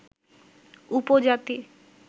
উপজাতি